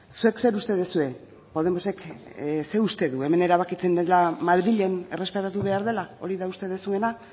zuek zer uste duzue podemosek zer uste du hemen erabakitzen dela madrilen errespetatu behar dela hori da uste duzuena